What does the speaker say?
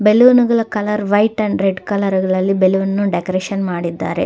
ಬಲೂನ್ಗಳ colour white and red colour ನಲ್ಲಿ balloon decoration ಮಾಡಿದ್ದಾರೆ.